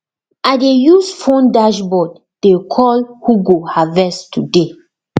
i dey use phone dashboard dey call who go harvest today